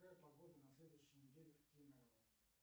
какая погода на следующей неделе в кемерово